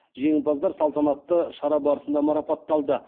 жеңімпаздар салтатанатты шара барысында марапатталды